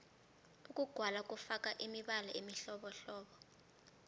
ukugwala kufaka imibala emihlobohlobo